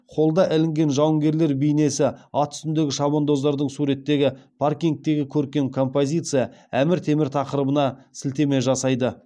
холлда ілінген жауынгерлер бейнесі ат үстіндегі шабандоздардың суреттеген паркингтегі көркем композиция әмір темір тақырыбына сілтеме жасайды